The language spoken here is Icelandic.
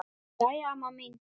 Jæja amma mín.